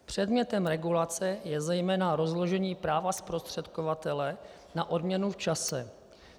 Předmětem regulace je zejména rozložení práva zprostředkovatele na odměnu v čase.